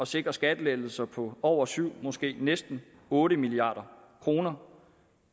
sikre skattelettelser på over syv milliard måske næsten otte milliard kroner